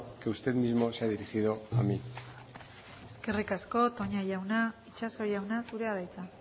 que usted mismo se ha dirigido a mí eskerrik asko toña jauna itxaso jauna zurea da hitza